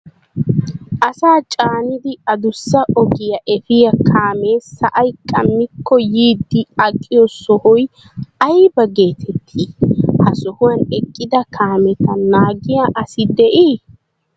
Asaa caanidi addussa ogiyaa efiya kaame sa'ay qammiko yiidi aqqiyo sohoy aybba getettii? Ha sohuwan eqqida kaameta naagiyaa asi de'ii?